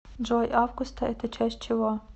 джой августа это часть чего